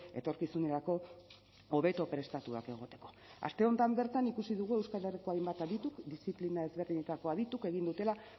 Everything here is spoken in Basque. etorkizunerako hobeto prestatuak egoteko aste honetan bertan ikusi dugu euskal herriko hainbat adituk diziplina ezberdinetako adituk egin dutela